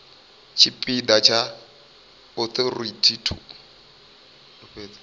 tshipi ḓa tsha authority to